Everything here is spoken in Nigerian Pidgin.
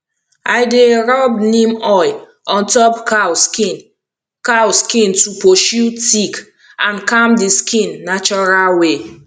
i dey rub neem oil on top cow skin cow skin to pursue tick and calm the skin natural way